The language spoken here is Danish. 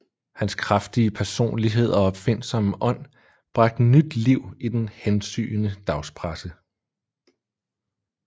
Hans kraftige personlighed og opfindsomme ånd bragte nyt liv i den hensygnende dagspresse